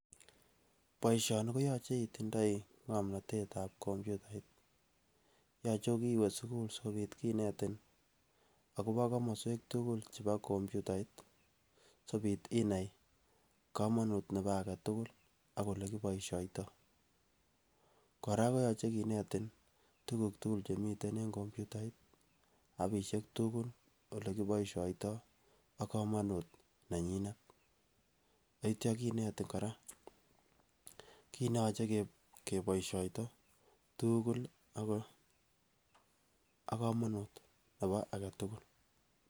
Boishoni koyoche itindoi ngomnotet ab komputait, yoche kokiwee sukul sikopit kinetin akobo komoswek tukul chebo komputait sikopit inai komonut nebo agetukul ak ole kiboishoito. Koraa koyoche kinetin tukuk tukul chemiten en komputait apishek tukul olekiboishoito ak komonut ne nyinet ak ityo kinetin koraa kit neyoche keboishoito tukul ak komonut nebo agetukul.